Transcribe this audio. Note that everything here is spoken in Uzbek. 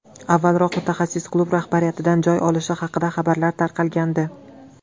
Avvalroq mutaxassis klub rahbariyatidan joy olishi haqida xabarlar tarqalgandi.